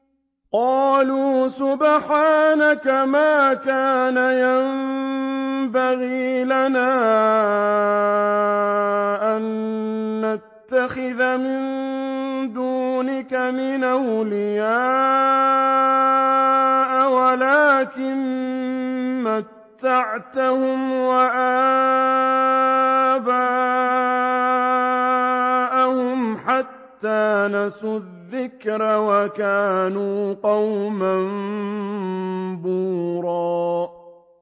قَالُوا سُبْحَانَكَ مَا كَانَ يَنبَغِي لَنَا أَن نَّتَّخِذَ مِن دُونِكَ مِنْ أَوْلِيَاءَ وَلَٰكِن مَّتَّعْتَهُمْ وَآبَاءَهُمْ حَتَّىٰ نَسُوا الذِّكْرَ وَكَانُوا قَوْمًا بُورًا